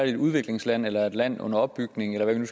et udviklingsland eller et land under opbygning eller hvad vi